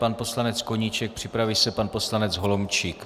Pan poslanec Koníček, připraví se pan poslanec Holomčík.